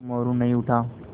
पर मोरू नहीं उठा